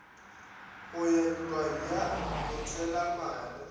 go ya ntlwang ya botshwelamare